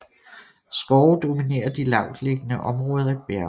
Skove dominerer de lavtliggende områder af bjergene